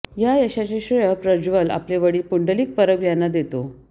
या यशाचे श्रेय प्रज्वल आपले वडील पुंडलिक परब यांना देतो